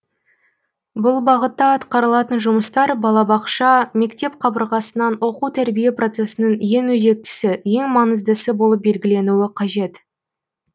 бұл бағытта атқарылатын жұмыстар балабақша мектеп қабырғасынан оқу тәрбие процесінің ең өзектісі ең маңыздысы болып белгіленуі қажет